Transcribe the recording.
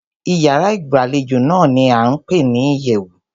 Ìyárá ìgbàlejò náà ní a ń pé ní ìyẹ̀wù.